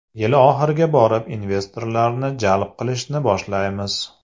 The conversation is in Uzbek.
Yil oxiriga borib, investorlarni jalb qilishni boshlaymiz.